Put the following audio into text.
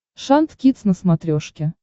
шант кидс на смотрешке